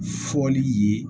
Fɔli ye